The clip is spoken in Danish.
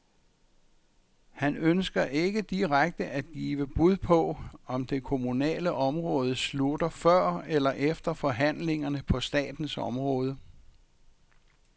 Han ønsker ikke direkte at give bud på, om det kommunale område slutter før eller efter forhandlingerne på statens område.